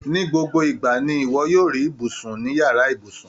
Ní gbogbo ìgbà ni iwọ yoo ri ibusun ni yàrá ibùsùn